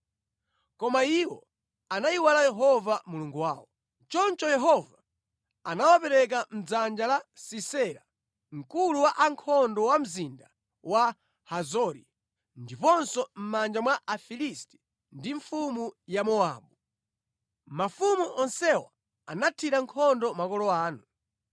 “Koma iwo anayiwala Yehova Mulungu wawo, choncho Yehova anawapereka mʼdzanja la Sisera mkulu wa ankhondo wa mzinda wa Hazori, ndiponso mʼmanja mwa Afilisti ndi mfumu ya Mowabu. Mafumu onsewa anathira nkhondo makolo anu.